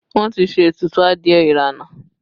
Wọn ti ṣe ètùtù adìẹ ìrànà